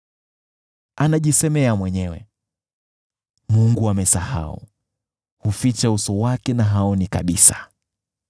Anajisemea mwenyewe, “Mungu amesahau, huficha uso wake na haoni kabisa.”